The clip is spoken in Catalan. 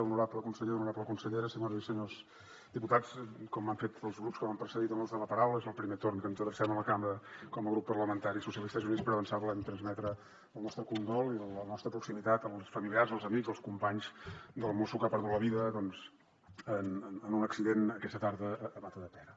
honorable conseller honorable consellera senyores i senyors diputats com han fet els grups que m’han precedit en l’ús de la paraula és el primer torn que ens adrecem a la cambra com a grup parlamentari socialistes i units per avançar volem transmetre el nostre condol i la nostra proximitat als familiars els amics i els companys del mosso que ha perdut la vida en un accident aquesta tarda a matadepera